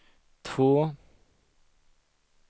två